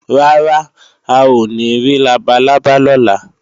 Rárá, a ò ní rí labalábá lọ́la